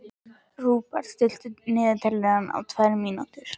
Rúbar, stilltu niðurteljara á tvær mínútur.